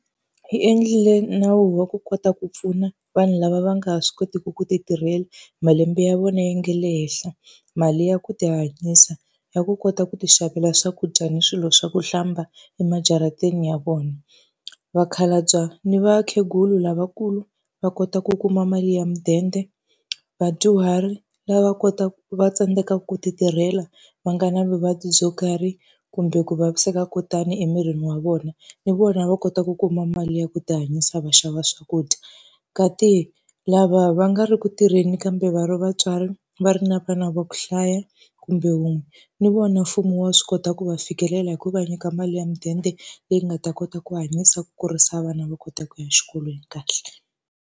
Yi endlile nawu wa ku kota ku pfuna vanhu lava va nga ha swi kotiki ku ti tirhela, malembe ya vona ya nge le henhla. Mali ya ku ti hanyisa, ya ku kota ku ti xavela swakudya ni swilo swa ku hlamba emajarateni ya vona. Vakhalabya ni vakhegulu lavakulu va kota ku kuma mali ya mudende, vadyuhari lava va tsandzekaka ku ti tirhela, va nga na vuvabyi byo karhi, kumbe ku vaviseka ko tani emirini wa vona, ni vona va kota ku kuma mali ya ku tihanyisa va xava swakudya. Kasi lava va nga ri ku tirheni kambe va ri vatswari va ri na vana va ku hlaya kumbe wun'we, ni vona mfumo wa swi kota ku va fikelela hi ku va nyika mali ya mudende leyi nga ta kota ku hanyisa ku kurisa vana va kota ku ya exikolweni kahle.